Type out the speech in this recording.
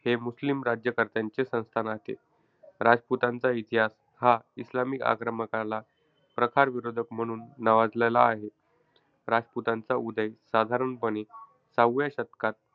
हे मुस्लिम राज्यकर्त्यांचे संस्थान होते. राजपुतांचा इतिहास हा इस्लामी आक्रमकाला प्रखार विरोधक म्हणून नावाजलेला आहे. राजपुतांचा उदय साधारणपणे सहाव्या शतकात,